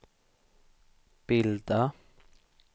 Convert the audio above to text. bilda